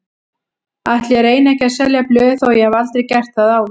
Ætli ég reyni ekki að selja blöð þó ég hafi aldrei gert það áður.